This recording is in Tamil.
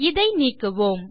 இதை நீக்குவோம்